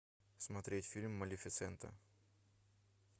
смотреть фильм малефисента